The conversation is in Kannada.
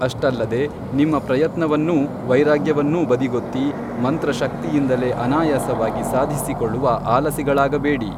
ಅಷ್ಟಲ್ಲದೆ ನಿಮ್ಮ ಪ್ರಯತ್ನವನ್ನೂ ವೈರಾಗ್ಯವನ್ನೂ ಬದಿಗೊತ್ತಿ ಮಂತ್ರಶಕ್ತಿಯಿಂದಲೇ ಅನಾಯಾಸವಾಗಿ ಸಾಧಿಸಿಕೊಳ್ಳುವ ಆಲಸಿಗಳಾಗಬೇಡಿ